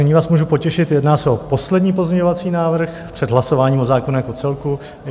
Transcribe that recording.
Nyní vás můžu potěšit, jedná se o poslední pozměňovací návrh před hlasováním o zákonu jako celku.